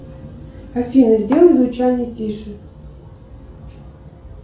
афина сделай звучание тише